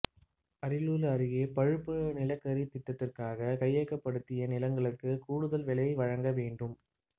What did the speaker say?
அரியலூர் அருகே பழுப்பு நிலக்கரி திட்டத்திற்காக கையகப்படுத்திய நிலங்களுக்கு கூடுதல் விலை வழங்க வேண்டும்